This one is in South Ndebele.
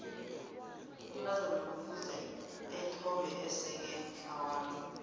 umntazana kufuze ethombe eseke litlawana